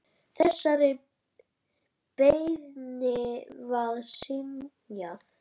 Þessari beiðni var synjað.